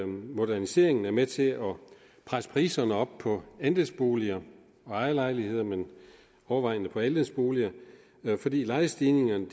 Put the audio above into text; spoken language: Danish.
moderniseringen er med til at presse priserne op på andelsboliger og ejerlejligheder men overvejende på andelsboliger fordi lejestigningerne